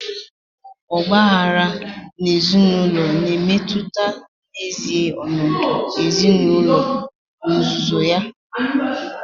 Ọgba aghara ezinaụlọ na-emetụta n'ezie ọnọdụ ezinaụlọ n'ozuzu ya.